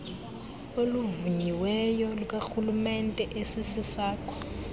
oluvunyiweyo lukarhulemente esisesakho